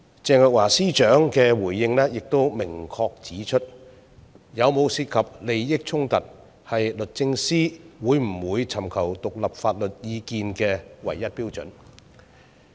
鄭若驊司長的回應亦明確指出，有否涉及利益衝突，是律政司會不會尋求獨立法律意見的唯一標準。